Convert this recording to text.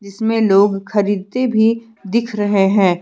इसमें लोग खरीदते भी दिख रहे हैं।